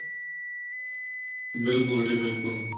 ਬਿਲਕੁਲ ਜੀ ਬਿਲਕੁਲ